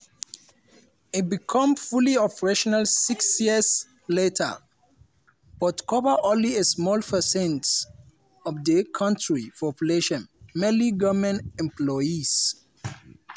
e become fully operational six years later but cover only a small percentage of di kontri population mainly goment employees.